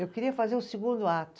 Eu queria fazer o segundo ato.